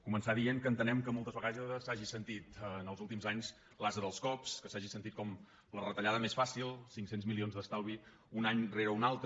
començar dient que entenem que moltes vegades s’ha·gi sentit en els últims anys l’ase dels cops que s’hagi sentit com la retallada més fàcil cinc cents milions d’estal·vi un any rere un altre